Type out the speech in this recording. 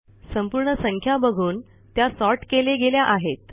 संपूर्ण संख्या बघून त्या सॉर्ट केले गेल्या आहेत